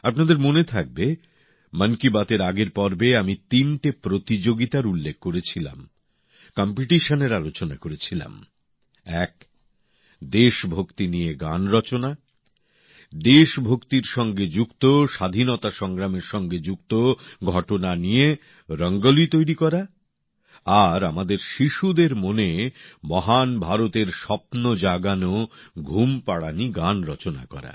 আপনাদের মনে থাকবে মন কি বাতএর আগের পর্বে আমি তিনটে প্রতিযোগিতার উল্লেখ করেছিলাম প্রতিযোগিতার আলোচনা করেছিলাম এক দেশভক্তি নিয়ে গান রচনা দেশভক্তির সঙ্গে যুক্ত স্বাধীনতা সংগ্রামের সঙ্গে যুক্ত ঘটনা নিয়ে রঙ্গিন আলপনা আঁকা আর আমাদের শিশুদের মনে মহান ভারতের স্বপ্ন জাগানো ঘুমপাড়ানি গান রচনা করা